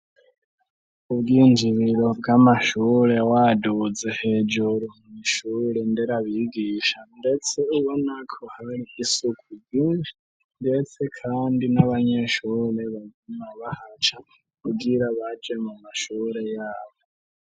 Ubwinjibiro bw'amashure waduze hejuru mw'ishure ndera bigisha, ndetse ubo nako hari isuku ryinshi mdetse, kandi n'abanyeshure bagma bahaca kugira baje mu mashure yabo.